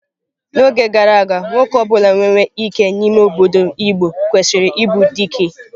N'oge gara aga, nwoke ọ bụla nwere ike n'ime obodo igbo kwesịrị ịbụ dike.